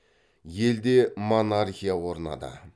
елде монархия орнады